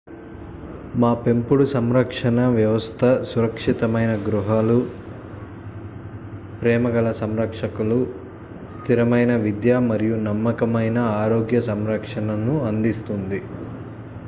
మా పెంపుడు సంరక్షణ వ్యవస్థ సురక్షితమైన గృహాలు ప్రేమగల సంరక్షకులు స్థిరమైన విద్య మరియు నమ్మకమైన ఆరోగ్య సంరక్షణను అందిస్తుంది